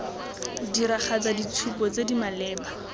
diragatsa ditshupo tse di maleba